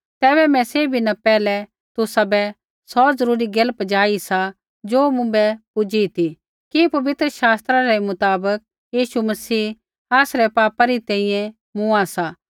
तैबै मैं सैभी न पैहलै तुसाबै सौ ज़रूरी गैल पजाई सा ज़ो मुँभै पूजी ती कि पवित्र शास्त्रा रै मुताबक यीशु मसीह आसरै पापै री तैंईंयैं मूँआ सा